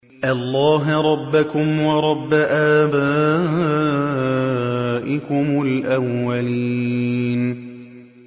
اللَّهَ رَبَّكُمْ وَرَبَّ آبَائِكُمُ الْأَوَّلِينَ